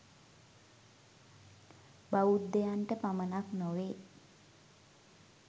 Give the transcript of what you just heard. බෞද්ධයන්ට පමණක් නොවේ.